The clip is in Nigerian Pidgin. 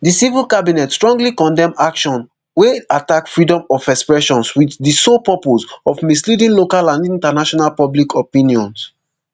di civil cabinet strongly condemn action wey attack freedom of expression wit di sole purpose of misleading local and international public opinions